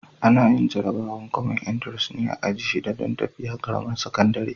Ana yin jarabawar kwamen intares ne a aji shida don tafi ƙaramar sakandire.